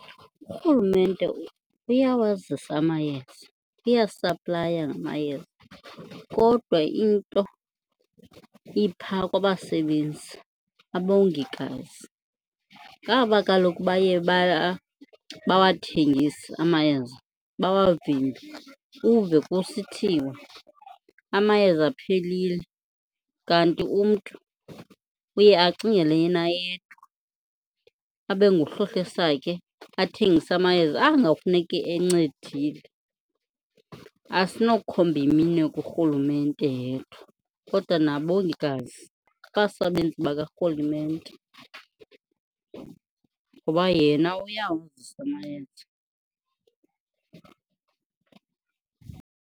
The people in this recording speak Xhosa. Urhulumente uyawazisa amayeza, uyasaplaya ngamayeza kodwa into ipha kwabasebenzi, abongikazi ngaba kaloku baye bawathengise amayeza bawavimbe. Uve kusithiwa amayeza aphelile kanti umntu uye acingele yena yedwa, abe nguhlohla esakhe athengise amayeza anga ekufuneke encedile. Asinokhomba imiwe kurhulumente yedwa kodwa nabongikazi, abasebenzi bakarhulumente, ngoba yena uyawazisa amayeza.